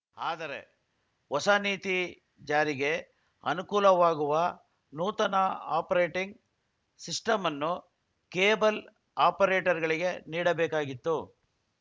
ಆದರೆ ಹೊಸ ನೀತಿ ಜಾರಿಗೆ ಅನುಕೂಲವಾಗುವ ನೂತನ ಆಪರೇಟಿಂಗ್‌ ಸಿಸ್ಟಂ ಅನ್ನು ಕೇಬಲ್‌ ಆಪರೇಟರ್‌ಗಳಿಗೆ ನೀಡಬೇಕಾಗಿತ್ತು